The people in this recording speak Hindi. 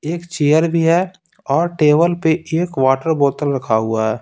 एक चेयर भी है और टेबल पर एक वाटर बोतल रखा हुआ है।